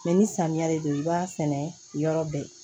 Mɛ ni samiya de don i b'a sɛnɛ yɔrɔ bɛɛ